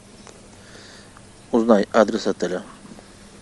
узнай адрес отеля